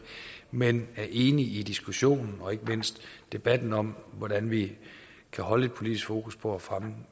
men er enig i diskussionen og ikke mindst debatten om hvordan vi kan holde politisk fokus på at fremme